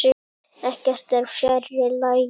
Ekkert er fjær lagi.